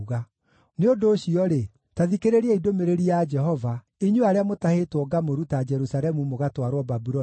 Nĩ ũndũ ũcio-rĩ, ta thikĩrĩriai ndũmĩrĩri ya Jehova, inyuĩ arĩa mũtahĩtwo ngamũruta Jerusalemu mũgatwarwo Babuloni.